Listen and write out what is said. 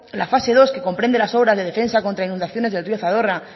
la fase dos que comprende las obras de defensa contra inundaciones del río zadorra